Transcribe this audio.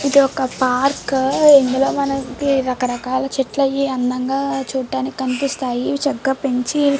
ఇది ఒక పార్క్ . మనకి రకరకాల చెట్లు అయి అందంగా చూడ్డానికి కనిపిస్తాయి. ఇవి చక్కగా పెంచి--